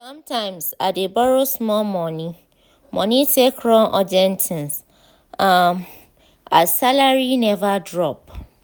sometimes i dey borrow small money money take run urgent things um as salary never drop.